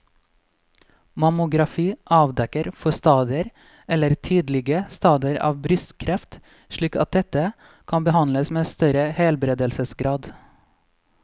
Mammografi avdekker forstadier eller tidlige stadier av brystkreft slik at dette kan behandles med større helbredelsesgrad.